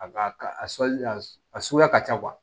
A ka ali a suguya ka ca kuwa